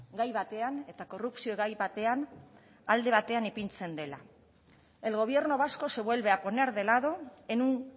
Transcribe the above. gai batean eta korrupzio gai batean alde batean ipintzen dela el gobierno vasco se vuelve a poner de lado en un